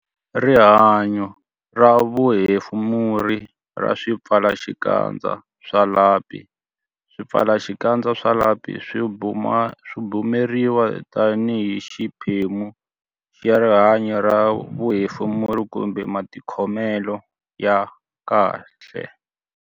Rihanyo ra vuhefemuri ra swipfalaxikandza swa lapi Swipfalaxikandza swa lapi swi bumabumeriwa tanihi xiphemu xa rihanyo ra vuhefemuri kumbe matikhomelo ya kahle.